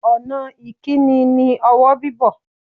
Ọ̀nà ìkíni ni ọwọ́ bíbọ̀.